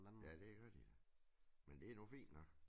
Ja det gør de da men det nu fint nok